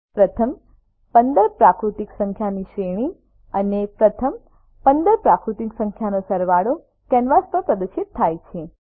પ્રથમ 15 પ્રાકૃતિક સંખ્યાની શ્રેણી અને પ્રથમ 15 પ્રાકૃતિક સંખ્યાનો સરવાળો કેનવાસ પર પ્રદર્શિત થાય છે